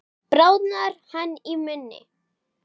Bráðnar hann í munni?